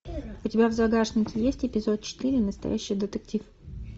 у тебя в загашнике есть эпизод четыре настоящий детектив